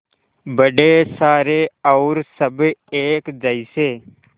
बड़े सारे और सब एक जैसे